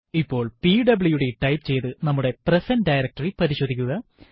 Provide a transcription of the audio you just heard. ഇപ്പോൾ PWD type ചെയ്തു നമ്മുടെ പ്രസന്റ് ഡയറക്ടറി പരിശോധിക്കുക